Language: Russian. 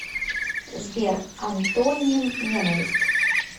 сбер антоним ненависть